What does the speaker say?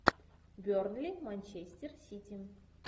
бернли манчестер сити